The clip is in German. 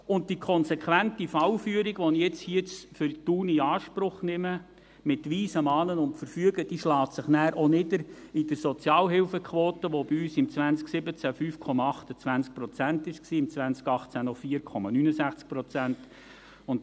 Die konsequente Fallführung, die ich hier für Thun in Anspruch nehme, mit Weisen, Mahnen und Verfügen, schlägt sich auch in der Sozialhilfequote nieder, die bei uns 2017 5,28 Prozent und 2018 noch 4,69 Prozent betrug.